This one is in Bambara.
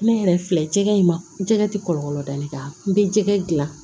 Ne yɛrɛ filɛ jɛgɛ in ma jɛgɛ tɛ kɔlɔlɔ da ne kan n bɛ jɛgɛ dilan